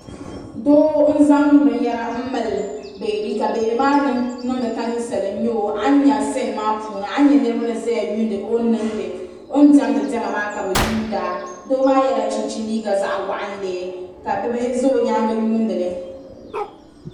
Doo n zaŋ binyera m mali beebi ka beebi maa niŋdi ka ninsala n nyɛ o ayi nya siini maa puuni niriba n zaya yuuni o ni diɛmdi diɛma maa ka bɛ yuuna doo maa yela chinchini liiga zaɣa waɣanli ka bibihi za o nyaanga yuunili.